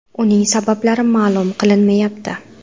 Uning sabablari ma’lum qilinmayapti.